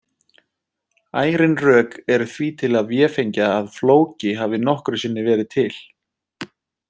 Ærin rök eru því til að véfengja að Flóki hafi nokkru sinni verið til.